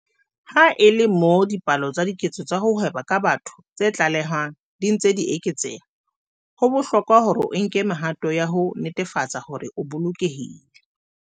Ha e le moo dipalo tsa diketso tsa ho hweba ka batho tse tlalehwang di ntse di eketseha, ho bohlokwa hore o nke mehato ya ho netefatsa hore o bolokehile.